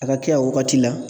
A ka kɛ a wagati la.